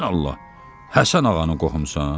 Sən Allah, Həsən Ağanın qohumusan?